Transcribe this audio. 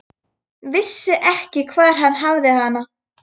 Vissi ekki hvar hann hafði hana.